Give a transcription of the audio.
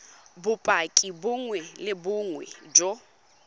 bopaki bongwe le bongwe jo